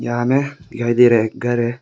यहां में दिखाई दे रहा एक घर है।